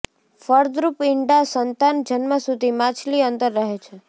ફળદ્રુપ ઇંડા સંતાન જન્મ સુધી માછલી અંદર રહે છે